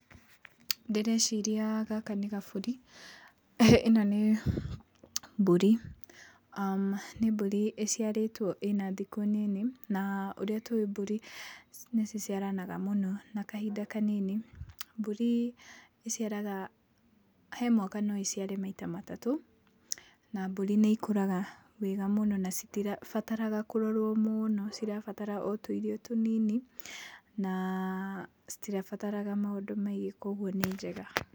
Ndĩreciria gaka nĩ gabũri, ĩno nĩ mbũrĩ, aah nĩ mbũri ĩciarĩtwo ĩna thikũ nini. Na ũrĩa tũwĩ mbũri nĩ ciciaranaga mũno na kahinda kanini, mbũri ĩciaraga, he mwaka no ĩciare maita matatũ, na mbũri nĩ ikũraga wega mũno na citibataraga kũrorwo mũno, cirabatara o tũirio tũnini na citibataraga maũndũ maingĩ koguo nĩ njega.